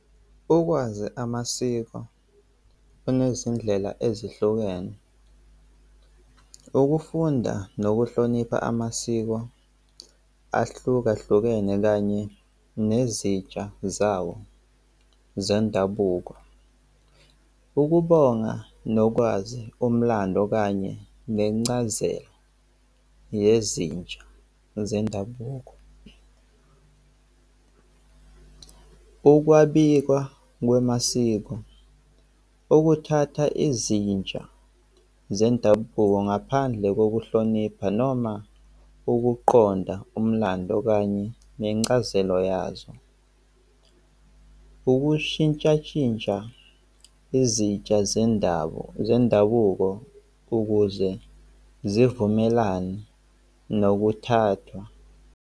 Ukwazi amasiko kunezindlela ezihlukene. Ukufunda nokuhlonipha amasiko ahlukahlukene kanye nezitsha zawo zendabuko, ukubonga nokwazi omlando kanye nencazelo yezinja zendabuko. Ukwabiwa kwamasiko ukuthatha izinja zendabuko ngaphandle kokuhlonipha noma ukuqonda umlando kanye nencazelo yazo. Ukushintshashintsha izitsha zendawo zendabuko ukuze zivumelane nokuthatha